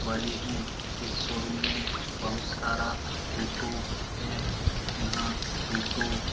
बड़े है इस शोरूम मे बहुत सारा टोटो है यहां टोटो --